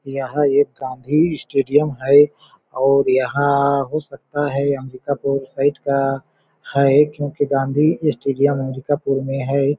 यहाँ एक गाँधी स्टेडियम है और यहाँ हो सकता है अम्बिकापुर साइड का हैं क्योंकि गाँधी स्टेडियम अमरिकापुर में है।